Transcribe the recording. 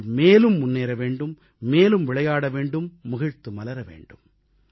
நீங்கள் மேலும் முன்னேற வேண்டும் மேலும் விளையாட வேண்டும் முகிழ்த்து மலர வேண்டும்